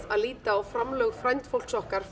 að líta á framlög frændfólks okkar